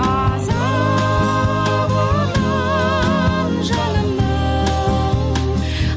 азабынан жанымның